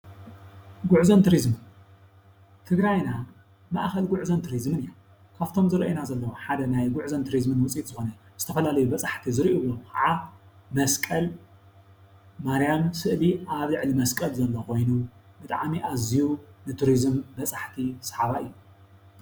ጉዕዞን ቱሪዝምን-ትግራይና ማእኸል ጉዕዞን ቱሪዝምን እያ፡፡ ካብቶም ዝረአዩና ዘለዉ ሓደ ናይ ጉዕዞን ቱሪዝምን ውፅኢት ዝኾነ ዝተፈላለዩ በፃሕቲ ዝርእይሉ ከዓ መስቀል ማርያም ስእሊ ኣብ ልዕሊ መስቀል ዘሎ ኮይኑ ብጣዕሚ ኣዝዩ ንቱሪዝም በፃሕቲ ሰሓባይ እዩ፡፡